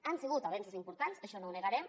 han sigut avenços importants això no ho negarem